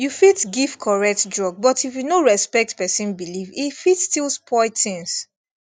you fit give correct drug but if you no respect person belief e fit still spoil things